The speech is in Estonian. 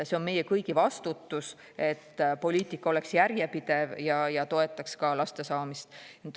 See on meie kõigi vastutus, et poliitika oleks järjepidev ja toetaks ka laste saamist.